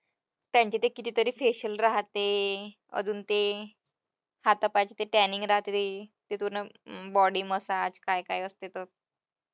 त्यांचे ते कितीतरी facial राहते अजून ते हातापायाचे tanning body massage काय काय असते